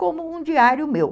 como um diário meu.